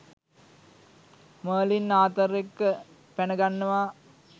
Merlin Arthur එක්ක පැනගන්නවා.